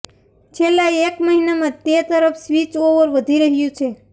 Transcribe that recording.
છેલ્લા એક મહિનામાં તે તરફ સ્વિચઓવર વધી રહ્યું છે